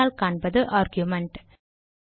பின்னால் காண்பது ஆர்குமென்ட்